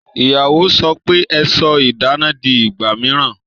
Ìyàwó sọ pe "Ẹ sọ idana di ìgbà mìíràn